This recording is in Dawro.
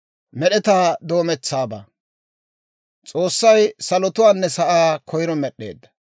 S'oossay salotuwaanne sa'aa koyro med'd'eedda.